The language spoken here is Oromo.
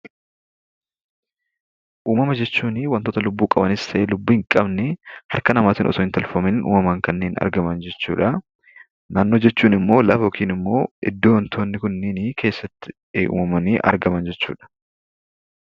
Uummama jechuun kan lubbuu qabanii fi hin qabne kan harka namaan osoo hin taane kan uummamaan argaman jechuudha. Naannoo jechuun immoo iddoo yookaan bakka uummanni Kun keessatti argaman jechuudha.